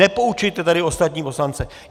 Nepoučujte tady ostatní poslance.